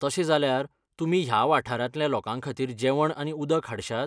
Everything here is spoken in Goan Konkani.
तशें जाल्यार, तुमी ह्या वाठारांतल्या लोकांखातीर जेवण आनी उदक हाडश्यात?